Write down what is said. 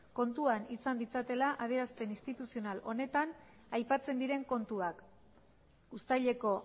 kontuan izan ditzatela adierazpen instituzional honetan aipatzen diren kontuak uztaileko